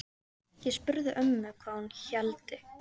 Ég spurði mömmu hvað hún héldi.